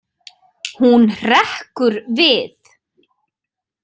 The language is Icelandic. Hún hrekkur við.